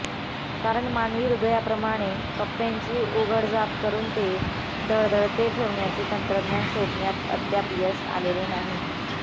कारण मानवी हृदयाप्रमाणे कप्प्यांची उघडझाप करून ते धडधडते ठेवण्याचे तंत्रज्ञान शोधण्यात अद्याप यश आलेले नाही